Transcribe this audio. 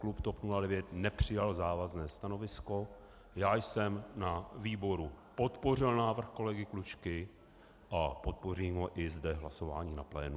Klub TOP 09 nepřijal závazné stanovisko, já jsem na výboru podpořil návrh kolegy Klučky a podpořím ho i zde hlasováním na plénu.